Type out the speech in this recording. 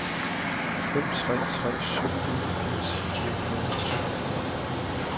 fem tre tre syv enogfirs fire hundrede og toogfyrre